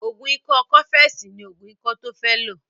Ògùn ikọ́ cọ́fẹ̀sì ní ògùn ikọ́ tó fẹ́ lò